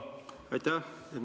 Aitäh!